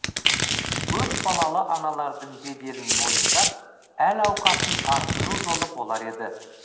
көпбалалы аналардың беделін мойындап әл ауқатын арттыру жолы болар еді